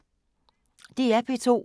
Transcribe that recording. DR P2